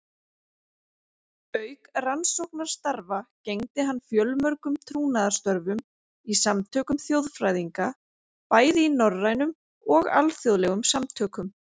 Auk rannsóknarstarfa gegndi hann fjölmörgum trúnaðarstörfum í samtökum þjóðfræðinga, bæði í norrænum og alþjóðlegum samtökum.